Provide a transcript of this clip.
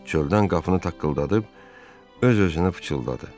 Çöldən qapını taqqıldadıb öz-özünə fısıldadı.